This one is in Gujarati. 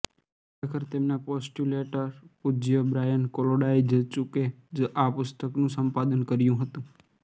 ખરેખર તેમના પોસ્ટુલેટર પૂજય બ્રાયન કોલોડાઈજચુકે જ આ પુસ્તકનું સંપાદન કર્યું હતું